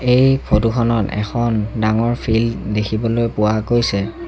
এই ফটো খনত এখন ডাঙৰ ফিল্ড দেখিবলৈ পোৱা গৈছে।